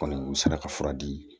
Kɔni u sera ka fura di